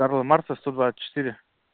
карла маркса сто двадцать четыре